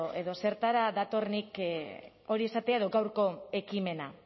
edo zertara dator nik hori esatea edo gaurko ekimena